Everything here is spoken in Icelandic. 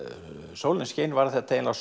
sólin skein varð þetta eiginlega